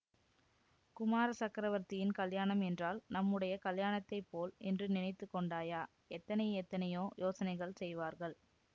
குமார சக்கரவர்த்தியின் கல்யாணம் என்றால் நம்முடைய கல்யாணத்தைப்போல் என்று நினைத்து கொண்டாயா எத்தனை எத்தனையோ யோசனைகள் செய்வார்கள்